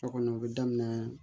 So kɔnɔ u bɛ daminɛ